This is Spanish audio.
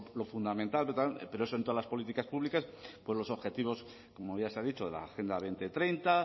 lo fundamental pero eso en todas las políticas públicas pues los objetivos como ya se ha dicho la agenda dos mil treinta